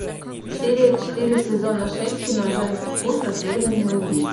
серия четыре сезона шесть кино женский клуб расследования убийств